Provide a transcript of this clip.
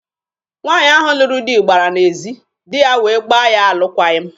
Nwaanyị ahụ lụrụ di gbara n'ezi, di ya wee gbaa ya alụkwaghị m.